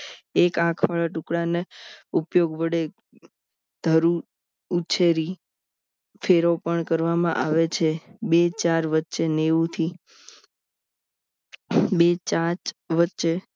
એક આંખ ટુકડાને ઉપયોગ વડે ધરું ઉછેરી ફેરો પણ કરવામાં આવે છે બે ચાર વચ્ચે નેવું થી બે જાત વચ્ચે